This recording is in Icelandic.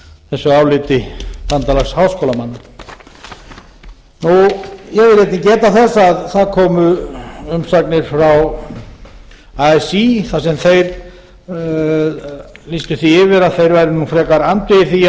þessu áliti bandalags háskólamanna ég vil einnig geta þess að það komu umsagnir frá así þar sem þeir lýstu því yfir að þær væru nú frekar andvígir því